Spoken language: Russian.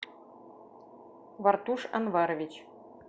вартуш анварович